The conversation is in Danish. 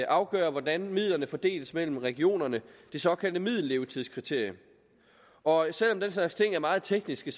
afgør hvordan midlerne fordeles mellem regionerne det såkaldte middellevetidskriterium og selv om den slags ting er meget tekniske